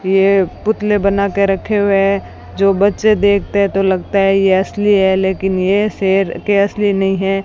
ये पुतले बना के रखे हुए है जो बच्चे देखते है तो लगता है ये असली है लेकिन ये शेर के असली नहीं है।